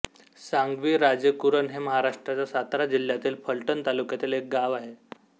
सांगवी राजेकुरण हे महाराष्ट्राच्या सातारा जिल्ह्यातील फलटण तालुक्यातील एक गाव आहे